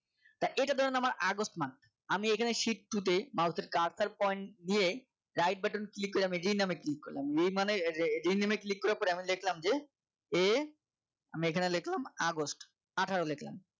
এটা ধরেন আমার আগস্ট month আমি এখানে shift two তে mouse এর cluster point দিয়ে right button click করে আমি যে নামে click করলাম rename এ click করার পরে লিখলাম যে এ আমি এখানে লিখলাম আগস্ট আঠারো লিখলাম